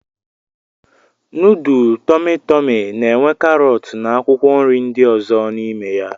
Nudul Tọmi Tọmi na-enwe karọt na akwụkwọ nri ndị ọzọ n'ime ya.